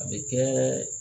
A bi kɛ